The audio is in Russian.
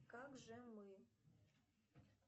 как же мы